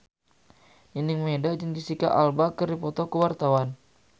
Nining Meida jeung Jesicca Alba keur dipoto ku wartawan